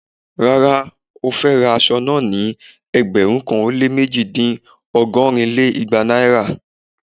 Rárá, ó fe ra aṣọ naa ni ẹgbẹ̀rún kan ó lé méjì dín ọgọ́rin lé igba naira!